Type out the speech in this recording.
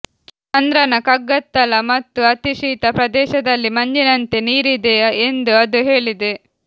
ಚಂದ್ರನ ಕಗ್ಗತ್ತಲ ಮತ್ತು ಅತಿ ಶೀತ ಪ್ರದೇಶದಲ್ಲಿ ಮಂಜಿನಂತೆ ನೀರಿದೆ ಎಂದು ಅದು ಹೇಳಿದೆ